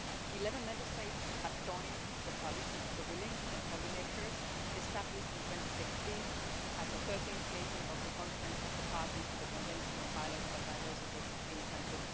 Eleven Member States have joined the Coalition of the Willing on Pollinators established in 2016 at the 13th meeting of the Conference of the Parties to the Convention on Biological Diversity in Cancún.